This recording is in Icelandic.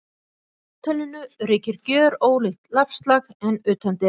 Á hótelinu ríkir gjörólíkt loftslag en utandyra.